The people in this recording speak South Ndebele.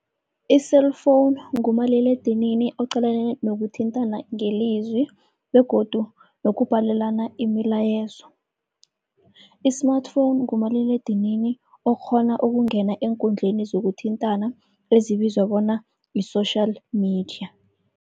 I-cellphone ngumaliledinini oqalene nokuthintana ngelizwi begodu nokubhalelana imilayezo. I-smartphone ngumaliledinini okghona ukungena eenkundleni zokuthintana ezibizwa bona yi-social media.